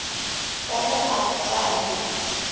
ka ge a tla be